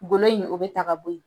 Golo in o bɛ ta ka bɔ ye.